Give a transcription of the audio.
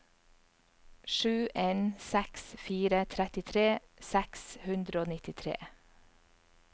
sju en seks fire trettitre seks hundre og nittitre